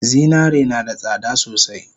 Zinare nada tsada sosai